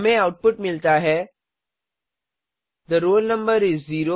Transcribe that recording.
हमें आउटपुट मिलता है थे रोल नंबर इस 0